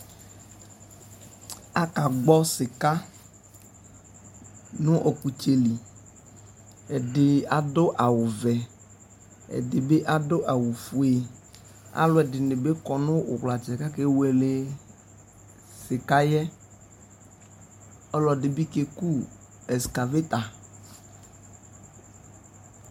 Akagbɔ sika nʋ ɔkutsɛliɛdi adʋ awu vɛ ɛdibi adʋ awu fueAlu ɛdini bi kɔ nu uwlatsɛ , kʋ akewele sika yɛɔlu ɛdibi keku ɛskaveta